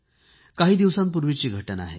काही दिवसांपूर्वीची घटना आहे